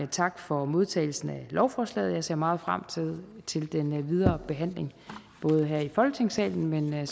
tak for modtagelsen af lovforslaget jeg ser meget frem til til den videre behandling både her i folketingssalen